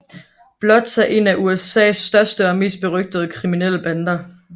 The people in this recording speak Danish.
Bloods er en af USAs største og mest berygtede kriminelle bander